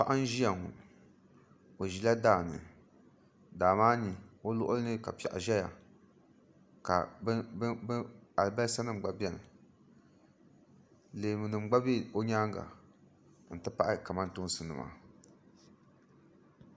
Paɣa n-ʒiya ŋɔ o ʒila daa ni daa maa ni o luɣili ni ka piɛɣu ʒɛya ka alibalisanima ɡba beni leemunima ɡba be o nyaaŋa nti pahi kamantoonsinima